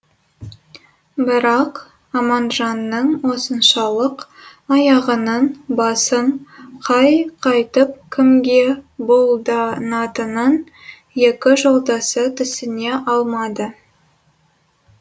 бірақ аманжанның осыншалық аяғының басын қайқайтып кімге бұлданатынын екі жолдасы түсіне алмады